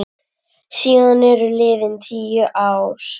Síðan eru liðin tíu ár.